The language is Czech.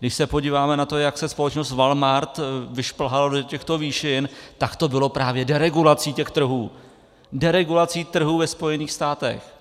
Když se podíváme na to, jak se společnost Walmart vyšplhala do těchto výšin, tak to bylo právě deregulací těch trhů, deregulací trhů ve Spojených státech.